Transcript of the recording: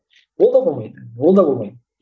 ол да оңай ол да оңай